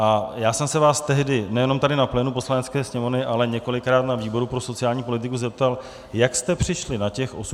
A já jsem se vás tehdy nejenom tady na plénu Poslanecké sněmovny, ale několikrát na výboru pro sociální politiku zeptal, jak jste přišli na těch 85 let.